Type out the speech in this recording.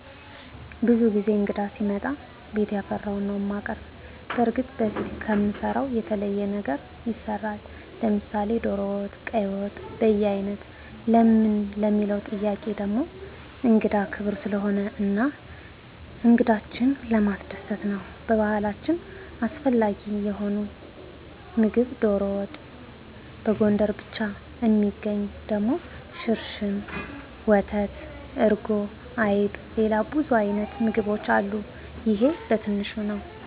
ብዙ ጊዜ እንግዳ ሲመጣ ቤት ያፈራዉን ነዉ እማቀርብ። በርግጥ በፊት ከምንሰራዉ የተለየ ነገር ይሰራል፤ ለምሳሌ ዶሮ ወጥ፣ ቀይ ወጥ፣ በያይነት ለምን ለሚለዉ ጥያቄ ደሞ እንግዳ ክቡር ስለሆነ እና እንግዶችን ለማስደሰት ነዉ። በባህላችን አስፈላጊ የሆነዉ ምግብ ዶሮ ወጥ፣ ሽሮ፣ በጎንደር ብቻ እሚገኝ ደሞ ሽርሽም፣ ወተት፣ እርጎ፣ አይብ፣ ሌላ ብዙ አይነት ምግቦች አሉ ይሄ በትንሹ ነዉ።